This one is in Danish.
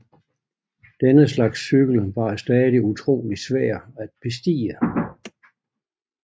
Denne slags cykel var stadig utrolig svær at bestige